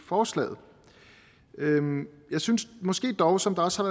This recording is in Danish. forslaget jeg synes dog som også